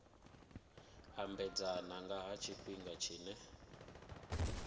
ambedzana nga ha tshifhinga tshine